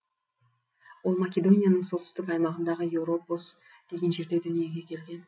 ол македонияның солтүстік аймағындағы европос деген жерде дүниеге келген